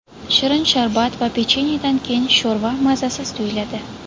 Shirin sharbat va pechenyedan keyin sho‘rva mazasiz tuyuladi.